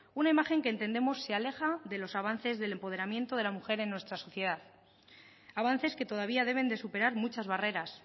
una imagen que entendemos se aleja de los avances del empoderamiento de la mujer en nuestra sociedad avances que todavía deben de superar muchas barreras